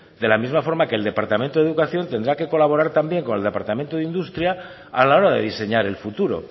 de la misma forma que el departamento de educación tendrá que colaborar también con el departamento de industria a la hora de diseñar el futuro